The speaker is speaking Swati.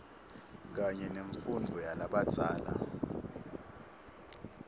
kanye nemfundvo yalabadzala